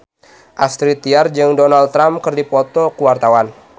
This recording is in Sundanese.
Astrid Tiar jeung Donald Trump keur dipoto ku wartawan